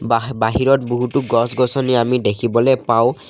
বাহ বাহিৰত বহুতো গছ-গছনি আমি দেখিবলৈ পাওঁ।